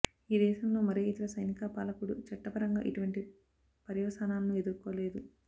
ఈ దేశంలో మరే ఇతర సైనిక పాలకుడూ చట్టపరంగా ఇటువంటి పర్యవసానాలను ఎదుర్కోలేదు